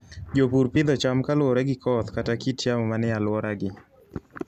Jopur pidho cham kaluwore gi koth kata kit yamo manie alworagi.